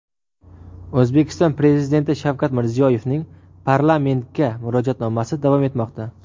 O‘zbekiston Prezidenti Shavkat Mirziyoyevning parlamentga Murojaatnomasi davom etmoqda.